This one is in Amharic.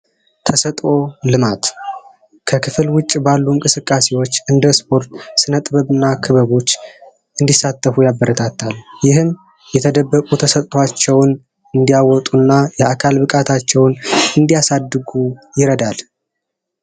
ተሰጥዖ ልማት ከክፍል ውጭ ባሉ እንቅስቃሴዎች እንደ ጥበብ እና ክበቦች እንዲሳተፉ ያበረታታል ይህም የተደበቁ ተሰጧቸውን እንዲያወጡና የአካል ብቃታቸውን እንዲያሳድጉ ይረዳል